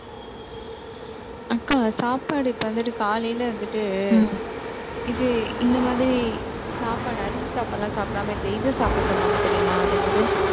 அக்கா, சாப்பாடு இப்ப வந்துட்டு, காலையில வந்துட்டு இது, இந்த மாதிரி சாப்பாடு அரிசி சாப்பாடெல்லாம் சாப்பிடாம இந்த இது சாப்பிட சொல்லுவாங்க தெரியுமா அது என்னது?